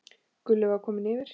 Gulli var kominn yfir.